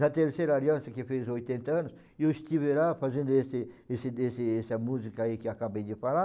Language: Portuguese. Na Terceira Aliança, que fez oitenta anos, eu estive lá fazendo esse esse esse essa música aí que acabei de falar.